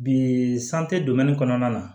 Bi kɔnɔna na